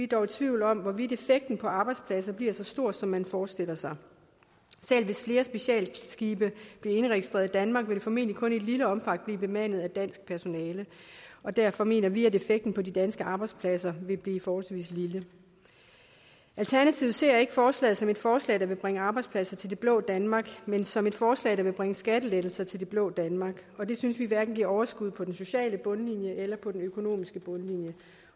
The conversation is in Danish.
dog i tvivl om hvorvidt effekten på arbejdspladser bliver så stor som man forestiller sig selv hvis flere specialskibe bliver indregistreret i danmark vil de formentlig kun i et lille omfang blive bemandet af dansk personale og derfor mener vi at effekten på de danske arbejdspladser vil blive forholdsvis lille alternativet ser ikke forslaget som et forslag der vil bringe arbejdspladser til det blå danmark men som et forslag der vil bringe skattelettelser til det blå danmark og det synes vi hverken giver overskud på den sociale bundlinje eller på den økonomiske bundlinje